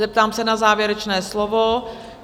Zeptám se na závěrečné slovo?